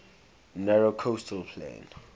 narrow coastal plain